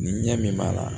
Ni ɲɛ min b'a la